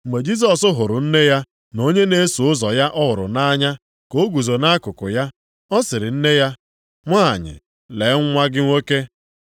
Mgbe Jisọs hụrụ nne ya na onye na-eso ụzọ ya ọ hụrụ nʼanya ka o guzo nʼakụkụ ya, ọ sịrị nne ya, “Nwanyị lee nwa gị nwoke.”